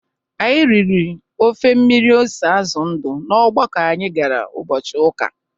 Anyị riri ofe mmiri ose azụ ndụ n'ọgbakọ anyi gara ụbọchị ụka.